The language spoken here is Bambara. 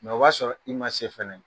o b'a sɔrɔ i ma se fana